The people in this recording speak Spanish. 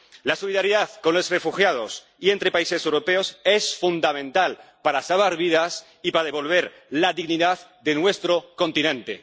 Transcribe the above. La solidaridad con los refugiados y entre países europeos es fundamental para salvar vidas y para devolver la dignidad a nuestro continente.